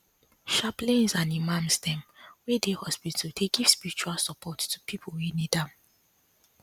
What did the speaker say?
chaplains and imams dem wey dey hospital dey give spiritual support to people wey need am